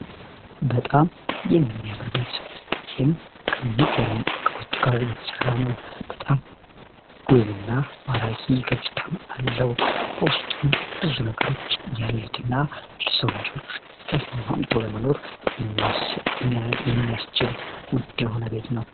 በጣም የሚያምር ቤት ይህም ከሚገርም ዕቃዎች ጋር የተሠራ ነው በጣም ውብ እና ማራኪ ገጽታም አለው ፖወስጡም ብዙ ነገሮች ያሉትና ልሰውልጆች ተስማምቶ ለመኖር የሚያስችል ውድ የሆነ ቤት ነው